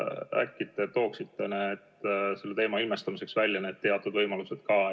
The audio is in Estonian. Äkki te tooksite selle teema ilmestamiseks need teatud võimalused välja.